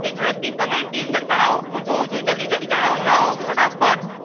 એ ઝડપ થી કમેંટ ની અંદર જણાવો હું જોવું છું જલ્દી જલ્દી જણાવો જણાવો ફટાફટ.